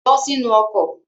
Bọ́ sínu ọkọ̀.